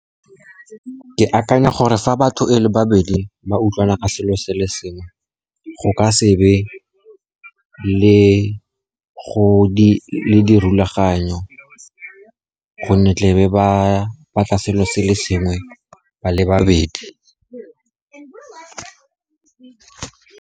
Ke akanya gore fa batho e le babedi ba utlwana ka selo se le sengwe, go ka sebe le dirulaganyo, gonne tla be ba batla selo se le sengwe ba le babedi.